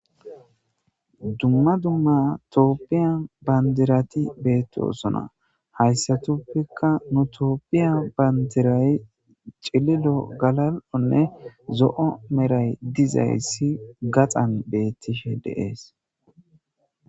dumma dumma toopphiya bandirati beettoosona hayssatopfekka nu toopphiya bandiray cililo galal7onne zo7o meray dizayssi gaxan beettishe deees